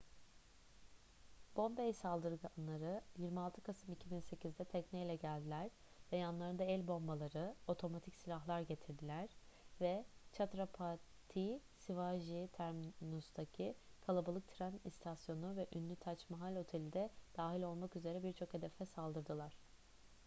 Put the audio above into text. bombay saldırganları 26 kasım 2008'de tekneyle geldiler ve yanlarında el bombaları otomatik silahlar getirdiler ve chhatrapati shivaji terminus'taki kalabalık tren istasyonu ve ünlü tac mahal oteli de dahil olmak üzere birçok hedefe saldırdılar